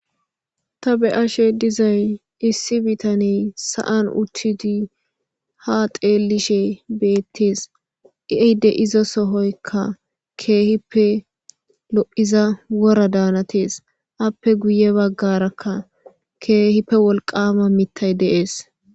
ta be ashe dizay issi bitani sa7an uchchidi ha xeellishe beettes i7eyde izo sohoykka keehippe lo7iza wora daanatees appe guye baggarakka keehippe wolqama mittay deees